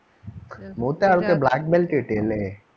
മൂത്ത ആൾക്ക് black belt കിട്ടി അല്ലേ?